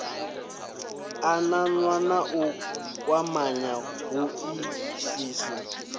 ananya na u kwamanya hoisiso